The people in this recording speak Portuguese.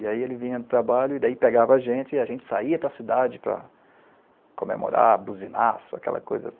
E aí ele vinha do trabalho, e daí pegava a gente, e a gente saía para cidade para comemorar, buzinaço, aquela coisa toda.